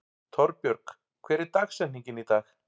Torbjörg, hver er dagsetningin í dag?